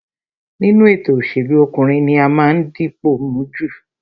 Nínú ètò òṣèlú, ọkùnrin ní ó máa ń dipò mú jù